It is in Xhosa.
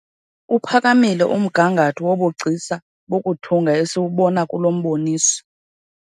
Uphakamile umgangatho wobugcisa bokuthunga esiwubona kulo mboniso.